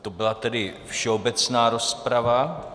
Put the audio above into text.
To byla tedy všeobecná rozprava.